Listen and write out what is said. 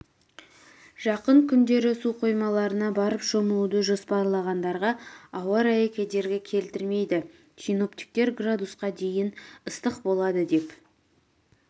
жақын күндері су қоймаларына барып шомылуды жоспарлағандарға ауа-райы кедергі келтірмейді синоптиктер градусқа дейін ыстық болады деп